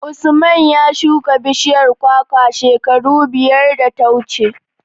Usman ya shuka bishiyar kwakwa shekara biyar da ta wuce.